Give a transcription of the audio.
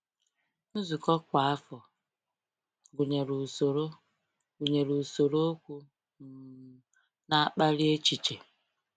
Nzukọ kwa afọ gụnyere usoro gụnyere usoro okwu um na-akpali echiche.